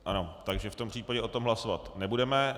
Ano, takže v tom případě o tom hlasovat nebudeme.